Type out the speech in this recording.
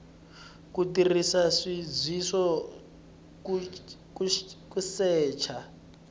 ku tirhisa nsindziso ku secha